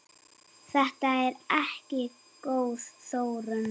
Þetta er ekki góð þróun.